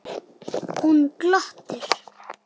Hún glotti.